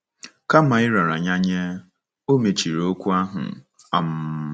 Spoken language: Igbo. Kama ịrara ya nye, o mechiri okwu ahụ. um